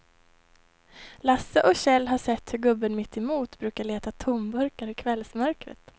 Lasse och Kjell har sett hur gubben mittemot brukar leta tomburkar i kvällsmörkret.